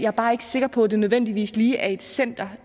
er bare ikke sikker på at det nødvendigvis lige er et center